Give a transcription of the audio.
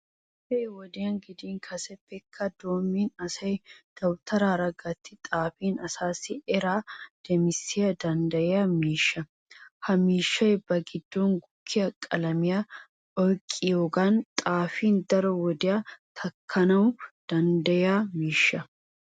Ha'i wodiyan gidin kaseppekka doommidi asay dawutaraara gatti xaafin asaassi eraa demissana danddayiya miishsha. Ha miishshay ba giddon gukkiya qalamiya oyqqiyogan xaafin daro wodiya takkana danddayiya miishsha.